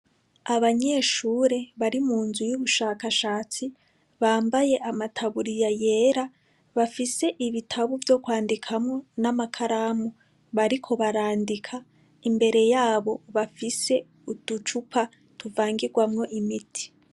Abanyeshure bari mu nzu y'ubushakashatsi bambaye amataburiya yera, bafise ibitabo vyo kwandikamwo n'amakaramu, bariko barandika, imbere yabo bafise uducupa tuvangirwamwo imiti.